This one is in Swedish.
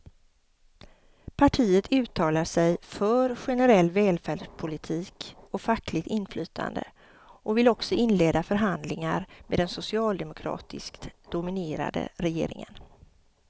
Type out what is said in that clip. Partiet uttalar sig för generell välfärdspolitik och fackligt inflytande och vill också inleda förhandlingar med den socialdemokratiskt dominerade regeringen.